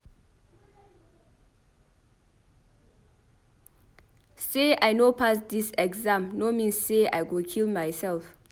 Sey I no pass dis exam no mean sey I go kill mysef.